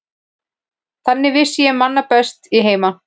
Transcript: Þann vissi ég mann bestan í heimi.